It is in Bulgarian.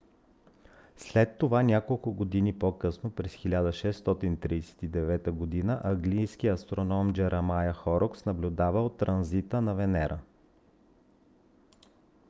след това няколко години по-късно през 1639 г. английският астроном джеремая хорокс наблюдавал транзита на венера